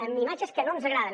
amb imatges que no ens agraden